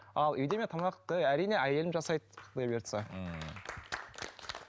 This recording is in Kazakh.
ал үйде мен тамақты әрине әйелім жасайды құдай бұйыртса ммм